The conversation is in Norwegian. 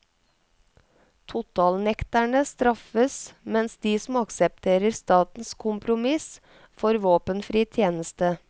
Totalnekterne straffes mens de som aksepterer statens kompromiss får våpenfri tjeneste.